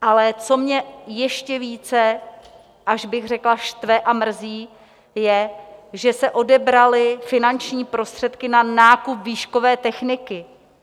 Ale co mě ještě více, až bych řekla štve a mrzí, je, že se odebraly finanční prostředky na nákup výškové techniky.